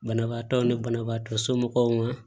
Banabaatɔw ni banabaatɔ somɔgɔw ma